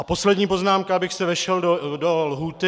A poslední poznámka, abych se vešel do lhůty.